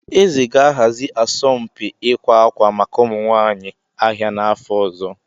Ee, eze ga-ahazi asọmpi ịkwa akwa maka ụmụ nwanyị ahịa n'afọ ọzọ.